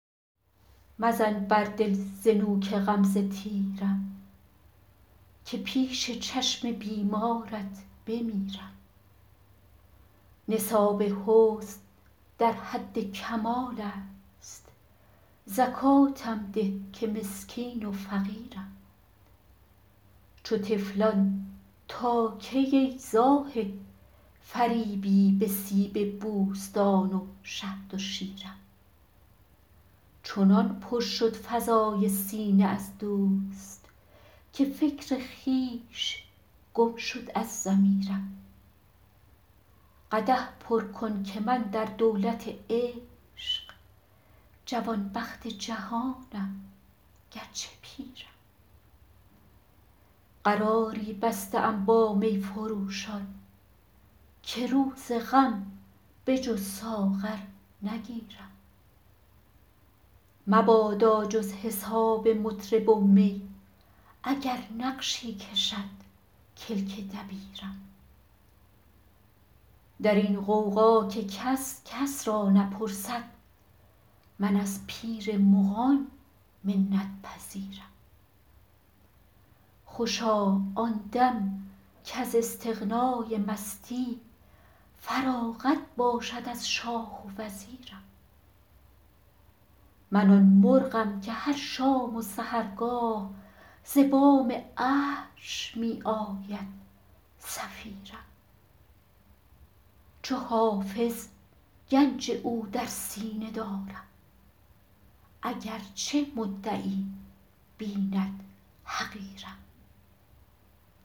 مزن بر دل ز نوک غمزه تیرم که پیش چشم بیمارت بمیرم نصاب حسن در حد کمال است زکاتم ده که مسکین و فقیرم چو طفلان تا کی ای زاهد فریبی به سیب بوستان و شهد و شیرم چنان پر شد فضای سینه از دوست که فکر خویش گم شد از ضمیرم قدح پر کن که من در دولت عشق جوانبخت جهانم گرچه پیرم قراری بسته ام با می فروشان که روز غم به جز ساغر نگیرم مبادا جز حساب مطرب و می اگر نقشی کشد کلک دبیرم در این غوغا که کس کس را نپرسد من از پیر مغان منت پذیرم خوشا آن دم کز استغنای مستی فراغت باشد از شاه و وزیرم من آن مرغم که هر شام و سحرگاه ز بام عرش می آید صفیرم چو حافظ گنج او در سینه دارم اگرچه مدعی بیند حقیرم